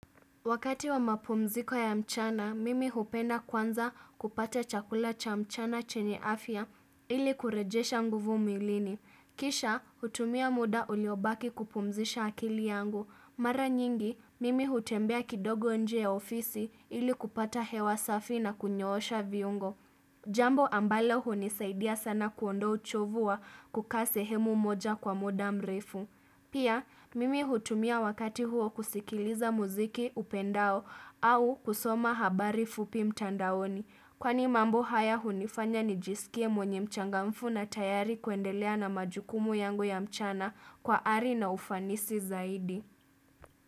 Wakati wa mapumziko ya mchana, mimi hupenda kwanza kupata chakula cha mchana chenye afya ili kurejesha nguvu milini. Kisha, hutumia muda uliobaki kupumzisha akili yangu. Mara nyingi, mimi hutembea kidogo nje ya ofisi ili kupata hewa safi na kunyoosha viungo. Jambo ambalo hunisaidia sana kuondoa uchovu wa kuka sehemu moja kwa muda mrefu. Pia, mimi hutumia wakati huo kusikiliza muziki upendao au kusoma habari fupi mtandaoni. Kwani mambo haya hunifanya nijisikie mwenye mchangamfu na tayari kuendelea na majukumu yangu ya mchana kwa ari na ufanisi zaidi.